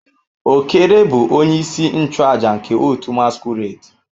Okere bu onye isi nchu aja nke otu masquerade.